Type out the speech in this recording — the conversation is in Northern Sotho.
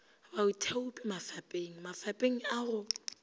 baithaopi mafapeng mafapeng a go